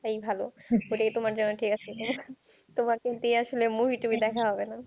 এটাই ভালো এটাই তোমার জন্য ঠিক আছে তোমার আসলে movie তুভি দেখা হবেনা